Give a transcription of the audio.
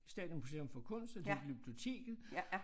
Statens Museum for Kunst og til Glyptoteket